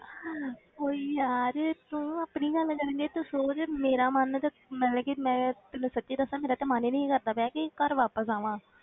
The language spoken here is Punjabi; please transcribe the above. ਓਹ ਯਾਰ ਤੂੰ ਆਪਣੀ ਨਾ ਮਤਲਬ ਕਿ ਤੂੰ ਸੋਚ ਮੇਰਾ ਮਨ ਤੇ ਮਤਲਬ ਕਿ ਮੈਂ ਤੈਨੂੰ ਸੱਚੀ ਦੱਸਾਂ ਮੇਰਾ ਤੇ ਮਨ ਹੀ ਨੀ ਸੀ ਕਰਦਾ ਪਿਆ ਕਿ ਘਰ ਵਾਪਸ ਆਵਾਂ।